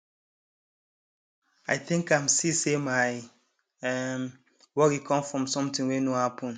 i think am see say my um worry come from something wey no happen